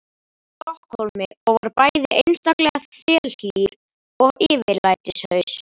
Stokkhólmi og var bæði einstaklega þelhlýr og yfirlætislaus.